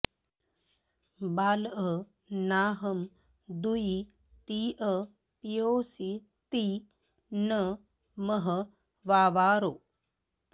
बालअ णाहं दूई तीअ पिओसि त्ति ण मह वावारो